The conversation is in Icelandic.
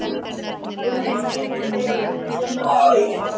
Hún er fín þegar hún kemur aftur heim.